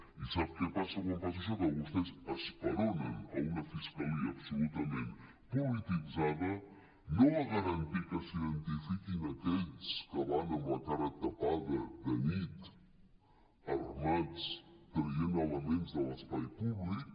i sap què passa quan passa això que vostès esperonen una fiscalia absolutament polititzada no a garantir que s’identifiquin aquells que van amb la cara tapada de nit armats traient elements de l’espai públic